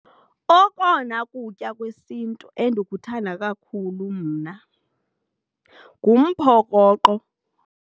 Okona kutya kwesiNtu endikuthanda kakhulu mna ngumphokoqo.